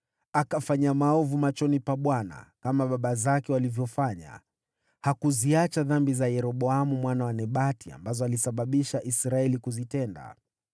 Akafanya maovu machoni pa Bwana , kama baba zake walivyofanya. Hakuziacha dhambi za Yeroboamu mwana wa Nebati ambazo alisababisha Israeli kuzitenda.